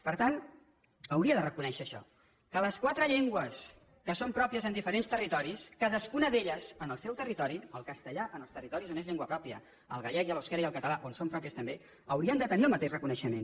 per tant hauria de reconèixer això que les quatre llengües que són pròpies en diferents territoris cadascuna d’elles en el seu territori el castellà en els territoris on és llengua pròpia el gallec i l’eusquera i el català on són pròpies també haurien de tenir també el mateix reconeixement